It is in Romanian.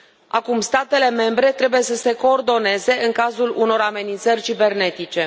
Acum statele membre trebuie să se coordoneze în cazul unor amenințări cibernetice.